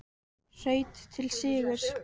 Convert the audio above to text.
Hraut til sigurs